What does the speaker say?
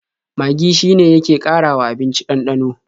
Magi shine yake ƙarawa abinci ɗanɗano.